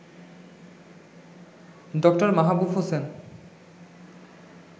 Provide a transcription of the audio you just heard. ড. মাহবুব হোসেন